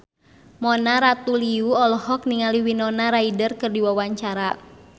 Mona Ratuliu olohok ningali Winona Ryder keur diwawancara